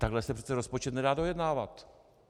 Takhle se přece rozpočet nedá dojednávat.